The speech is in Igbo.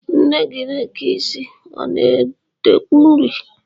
Nne gị na-eke isi, ọ na-edekwu uri?